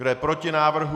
Kdo je proti návrhu?